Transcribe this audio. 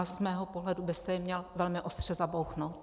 A z mého pohledu byste je měl velmi ostře zabouchnout.